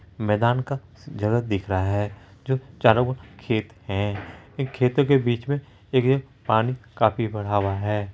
एक मैदान का जगह दिख रहा हैं। जो चारो ओर खेत हैं। इन खेतो के बीच में एक जगह पानी काफी भरा हुआ हैं।